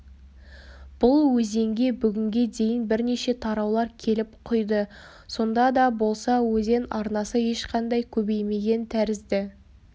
бұл өзенге бүгінге дейін бірнеше тараулар келіп құйды сонда да болса өзен арнасы ешқандай көбеймеген тәрізді